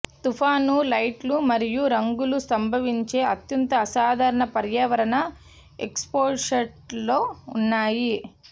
తుఫాను లైట్లు మరియు రంగులు సంభవించే అత్యంత అసాధారణ పర్యావరణ ఎక్స్పోషర్లలో ఉన్నాయి